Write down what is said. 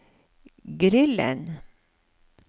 grillen